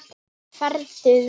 Farðu vel.